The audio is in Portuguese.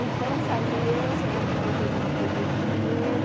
Então, saiu eu, saiu a minha outra irmã para o Rio de Janeiro.